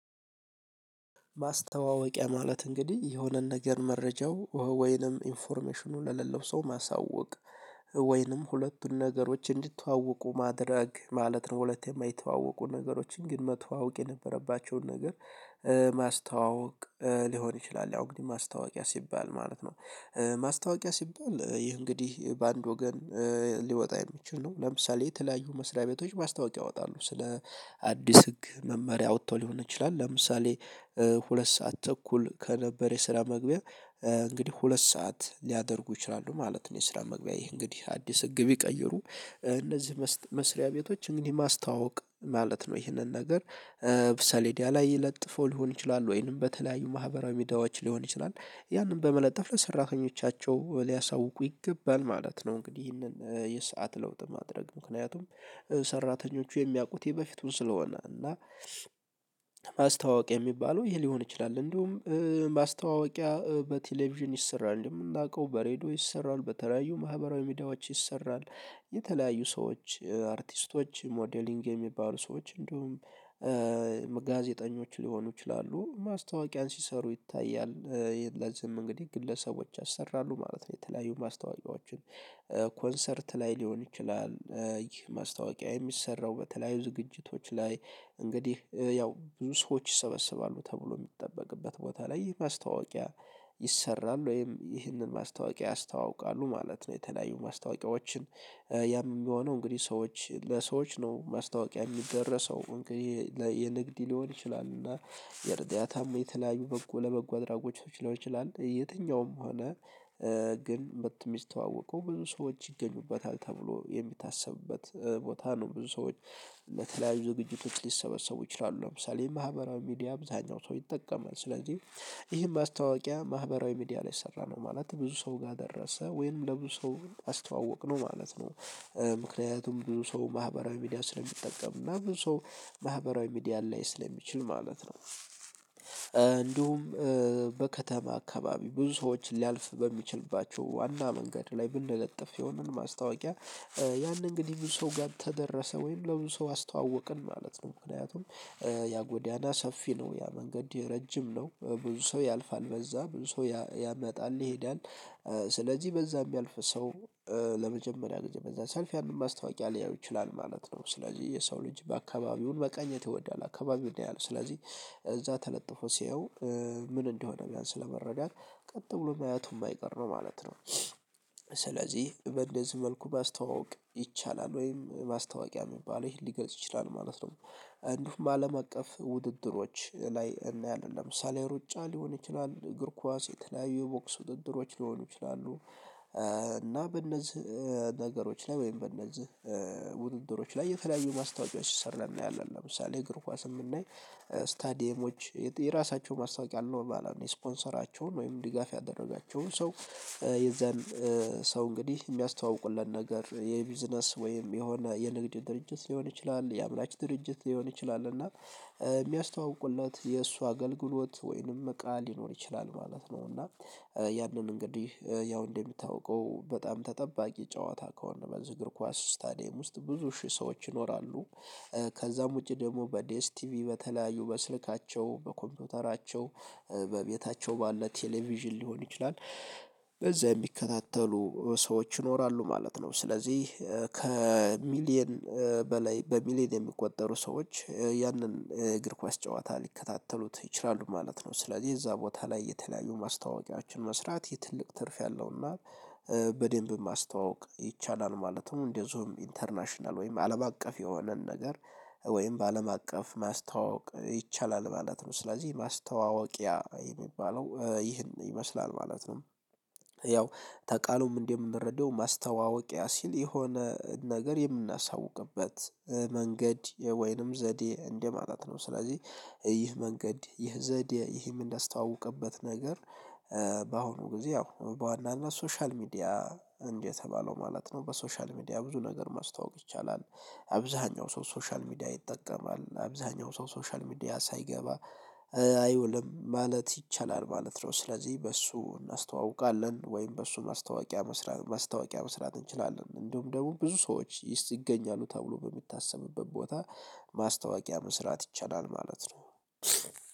ማስተዋወቂያ ማለት እንግዲህ የሆነን ነገር መረጃው ወይንም ኢንፎርሜሽኑ ለሌለው ሰው ማሳወቅ ወይንም ሁለቱን ነገሮች እንዲተዋወቁ ማድረግ ማለት ነው። ሁለት የማይተዋወቁ ነገሮችን ግን መተዋወቅ የነበረባቸውን ነገር ማስተዋወቅ ሊሆን ይችላል። ያው እንግዲህ ማስታወቂያ ሲባል ማለት ነው። ማስታወቂያ ሲባል ይህ እንግዲህ በአንድ ወገን ሊወጣ የሚችል ነው። ለምሳሌ የተለያዩ መስሪያ ቤቶች ማስታወቂያ ያወጣሉ ስለ አዲስ ህግ መመሪያ አውጠው ሊሆን ይችላል። ለምሳሌ ሁለት ሰዓት ተኩል ከነበር የስራ መግቢያ። እንግዲህ ሁለት ሰዓት ሊያደርጉ ይችላሉ ማለት ነው። የስራ መግቢያ ይሄ እንግዲህ አዲስ ህግ ቢቀይሩ እነዚህ መስሪያ ቤቶች እንግዲህ ማስታወቅ ማለት ነው። ይህንን ነገር ሰሌዳ ላይ ለጥፎ ሊሆን ይችላል ወይንም በተለያዩ ማህበራዊ ሚዲያዎች ሊሆን ይችላል። ያንን በመለጠፍ ለሰራተኞቻቸው ሊያሳውቁ ይገባል ማለት ነው። እንግዲህ ይህንን የሰዓት ለውጥ ማድረግ ምክንያቱም ሰራተኞቹ የሚያውቁት ይሄ በፊቱን ስለሆነ እና ማስታዋወቅ የሚባለው ይሄ ሊሆን ይችላል። እንዲሁም ማስታወቂያ በቴሌቪዥን ይሰራል የምናቀው በሬድዮ ይሰራል በተለያዩ ማህበራዊ ሜዳዎች ይሰራል። የተለያዩ ሰዎች አርቲስቶች ሞዴሊንግ የሚባሉ ሰዎች እንዲሁም ጋዜጠኞች ሊሆኑ ይችላሉ ማስታወቂያን ሲሰሩ ይታያል። ለዚህም እንግዲህ ግለሰቦች ያሰራሉ ማለት ነው። የተለያዩ ማስታወቂያዎችን ኮንሰርት ላይ ሊሆን ይችላል ይህ ማስታወቂያ የሚሰራው በተለያዩ ዝግጅቶች ላይ እንግዲህ ያው ብዙ ሰዎች ይሰበሰባሉ ተብሎ የሚጠበቅበት ቦታ ላይ ይህ ማስታወቂያ። ይሰራል ወይም ይህንን ማስታወቂያ ያስተዋውቃሉ ማለት ነው። የተለያዩ ማስታወቂያዎችን የሚሆነው እንግዲህ ሰዎች ለሰዎች ነው ማስታወቂያ የሚደረሰው እንግዲህ የንግድ ሊሆን ይችላል። እና የርዳታም የተለያዩ በጎ ለበጎ አድራጎቾች ሊሆን ይችላል። የትኛውም ሆነ ግን መቶ የሚስተዋወቀው ብዙ ሰዎች ይገኙበታል ተብሎ የሚታሰብበት ቦታ ነው። ብዙ ሰዎች ለተለያዩ ዝግጅቶች ሊሰበሰቡ ይችላሉ ለምሳሌ የማህበራዊ ሚዲያ አብዛኛው ሰው ይጠቀማል። ስለዚህ ይህን ማስታወቂያ ማህበራዊ ሚዲያ ላይ ሰራነው ማለት ብዙ ሰው ጋር ደረሰ ወይም ለብዙ ሰው አስተዋወቅነው ማለት ነው። ምክንያቱም ብዙ ሰው ማህበራዊ ሚዲያ ስለሚጠቀም እና ብዙ ሰው ማህበራዊ ሚዲያን ሊያይ ስለሚችል ማለት ነው። እንዲሁም በከተማ አካባቢ ብዙ ሰዎች ሊያልፍ በሚችልባቸው ዋና መንገድ ላይ ብንለጥፍ የሆነን ማስታወቂያ። ያን እንግዲህ ብዙ ሰው ጋር ተደረሰ ወይም ለብዙ ሰው አስተዋወቅን ማለት ነው። ምክንያቱም ያ ጎዳና ሰፊ ነው ያ መንገድ ረጅም ነው ብዙ ሰው ያልፋል በዛ ብዙ ሰው ያመጣል ይሄዳል። ስለዚህ በዛ የሚያልፍ ሰው ለመጀመሪያ ጊዜ በዛ ሲያልፍ ማስታወቂያ ሊያየው ይችላል ማለት ነው። ስለዚህ የሰው ልጅ በአካባቢውም መቃኘት ይወዳል አካባቢውን ያያል ስለዚህ እዛ ተለጥፎ ሲያየው ምን እንደሆነ ቢያንስ ለመረዳት ቀጥ ብሎ ማየቱ የማይቀር ነው ማለት ነው። ስለዚህ በእንደዚህ መልኩ ማስተዋወቅ ይቻላል ወይም ማስታወቂያ የሚባለው ይሄን ሊገልጽ ይችላል ማለት ነው። እንዲሁም አለም አቀፍ ውድድሮች ላይ እናያለን ለምሳሌ ሩጫ ሊሆን ይችላል እግር ኳስ የተለያዩ ቦክስ ውድድሮች ሊሆኑ ይችላሉ። እና በእነዚህ ነገሮች ላይ ወይም በእነዚህ ውድድሮች ላይ የተለያዩ ማስታወቂያ ሲሰራ እናያለን ለምሳሌ እግር ኳስን ብናይ ስታዲየሞች የራሳቸው ማስታወቂያ ኖርማል አለው። የስፖንሰራቸውን ወይም ዲጋፍ ያደረጋቸውን ሰው የዛን ሰው እንግዲህ የሚያስተዋውቁለት ነገር የቢዝነስ ወይም የሆነ የንግድ ድርጅት ሊሆን ይችላል። የአምራች ድርጅት ሊሆን ይችላል እና የሚያስተዋውቁለት የእሱ አገልግሎት ወይንም እቃ ሊኖር ይችላል ማለት ነው። እና ያንን እንግዲህ ያው እንደሚታወቀው በጣም ተጠባቂ ጨዋታ ከሆነ በዚህ እግር ኳስ ስታዲየም ውስጥ ብዙ ሺህ ሰዎች ይኖራሉ። ከዛም ውጪ ደግሞ በዲኤስ ቲቪ በተለያዩ በስልካቸው በኮምፒውተራቸው በቤታቸው ባለ ቴሌቪዥን ሊሆን ይችላል። በዛ የሚከታተሉ ሰዎች ይኖራሉ ማለት ነው። ስለዚህ ከሚሊየን በላይ በሚሊየን የሚቆጠሩ ሰዎች ያንን የእግር ኳስ ጨዋታ ሊከታተሉት ይችላሉ ማለት ነው። ስለዚህ እዛ ቦታ ላይ የተለያዩ ማስታወቂያዎችን መስራት የትልቅ ትርፍ ያለውና በደንብ ማስተዋወቅ ይቻላል ማለት ነው። እንደዚሁም ኢንተርናሽናል ወይም አለም አቀፍ የሆነን ነገር ወይም በአለም አቀፍ ማስተዋወቅ ይቻላል ማለት ነው። ስለዚህ ማስተዋወቂያ የሚባለው ይህን ይመስላል ማለት ነው። ያው ተቃሉም እንደምንረዳው ማስተዋወቂያ ሲል የሆነ ነገር የምናሳውቅበት መንገድ ወይንም ዘዴ እንደማለት ነው። ስለዚህ ይህ መንገድ ይህ ዘዴ ይህን እንዳስተዋወቀበት ነገር። በአሁኑ ጊዜ ያው በዋናነት ሶሻል ሚዲያ የተባለው ማለት ነው በሶሻል ሚዲያ ብዙ ነገር ማስተዋወቅ ይቻላል። አብዛሀኛው ሰው ሶሻል ሚዲያ ይጠቀማል አብዛሀኛው ሰው ሶሻል ሚዲያ ሳይገባ አይውልም ማለት ይቻላል ማለት ነው። ስለዚህ በእሱ እናስተዋውቃለን ወይም በእሱ ማስታወቂያ መስራት ማስታወቂያ መስራት እንችላለን። እንዲሁም ደግሞ ብዙ ሰዎችይገኛሉ ተብሎ በሚታሰብበት ቦታ ማስታወቂያ መስራት ይቻላል ማለት ነው።